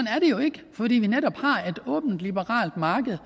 er det jo ikke fordi vi netop har et åbent liberalt marked